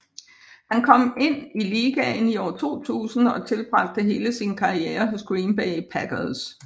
Han kom ind i ligaen i år 2000 og tilbragte hele sin karriere hos Green Bay Packers